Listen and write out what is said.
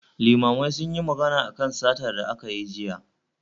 Limamai sunyi magana akan satar da aka yi jiya